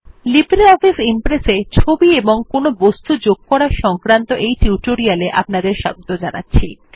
LibreOffice Impress এ ছবি এবং কোনো বস্তু যোগ করা সংক্রান্ত এই টিউটোরিয়ালে আপনাদের স্বাগত জানাচ্ছি